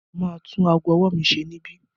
Mo ma tún ago ọwọ́ mi ṣe níbí.